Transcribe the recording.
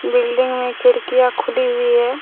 Building में खिड़कियाँ खुली हुई है।